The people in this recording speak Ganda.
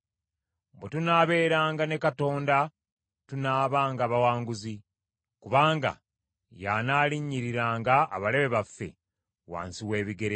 Bwe tunaabeeranga ne Katonda tunaabanga bawanguzi; kubanga y’anaalinnyiriranga abalabe baffe wansi w’ebigere bye.